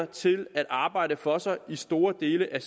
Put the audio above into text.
til at arbejde for sig i store dele af